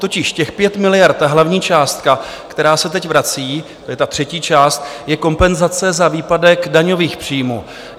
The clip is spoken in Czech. Totiž těch 5 miliard, ta hlavní částka, která se teď vrací - to je ta třetí část - je kompenzace za výpadek daňových příjmů.